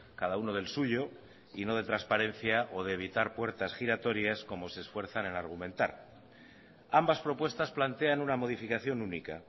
cada uno del suyo y no de transparencia o de evitar puertas giratorias como se esfuerzan en argumentar ambas propuestas plantean una modificación única